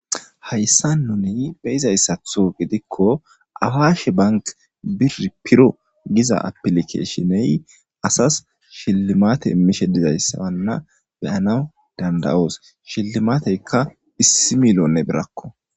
Hayssa nuney beyizayssatho gidikko awaashe bank bir piro giza apilike shiney asas shillimate immishe dizayssawanna beyanaw dandayoos shillimateykka issi milone birakko.